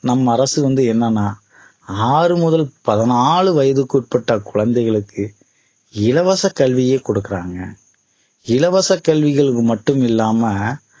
நம் அரசு வந்து என்னன்னா ஆறு முதல் பதினாளு வயதுக்கு உட்பட்ட குழந்தைகளுக்கு இலவச கல்வியை குடுக்கிறாங்க இலவச கல்விகளுக்கு மட்டுமில்லாம